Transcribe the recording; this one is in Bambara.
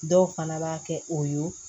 Dɔw fana b'a kɛ o ye